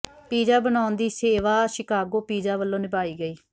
pizza ਬਣਾਉਣ ਦੀ ਸੇਵਾ ਸ਼ਿਕਾਗੋ ਪੀਜ਼ਾ ਵੱਲੋਂ ਨਿਭਾਈ ਗਈ